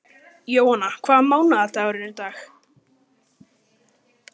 Jóanna, hvaða mánaðardagur er í dag?